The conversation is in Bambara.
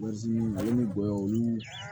ale ni gɔyɔ olu